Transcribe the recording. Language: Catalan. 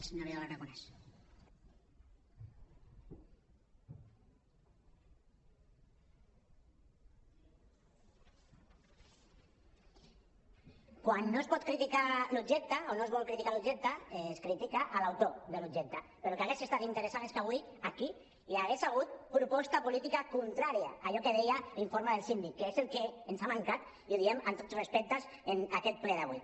quan no es pot criticar l’objecte o no es vol criticar l’objecte es critica l’autor de l’objecte però el que hauria estat interessant és que avui aquí hi hagués hagut proposta política contrària a allò que deia l’informe del síndic que és el que ens ha mancat i ho diem amb tot respecte en aquest ple d’avui